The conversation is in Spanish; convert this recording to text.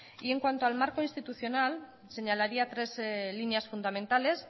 y en cuanto al marco institucional señalaría tres líneas fundamentales